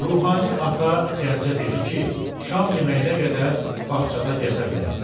Ruhani ata Gəncə dedi ki, şam yeməyinə qədər bağçada gəzə bilər.